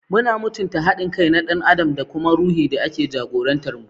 Muna mutunta haɗin kai na ɗan adam da kuma ruhi da ke jagorantar mu.